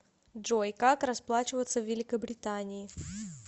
джой как расплачиваться в великобритании